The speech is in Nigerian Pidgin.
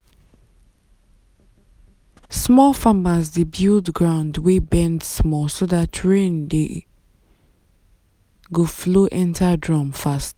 small farmers dey build ground wey bend small so dat rain dey [?.] go flow enter drum fast.